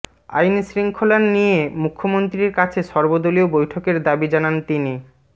আইনশৃঙ্খলা নিয়ে মুখ্যমন্ত্রীর কাছে সর্বদলীয় বৈঠকের দাবি জানান তিনি